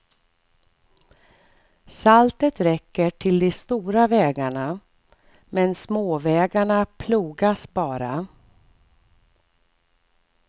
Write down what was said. Saltet räcker till de stora vägarna men småvägarna plogas bara.